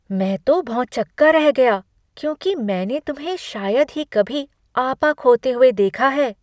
मैं तो भौंचक्का रह गया क्योंकि मैंने तुम्हें शायद ही कभी आपा खोते हुए देखा है।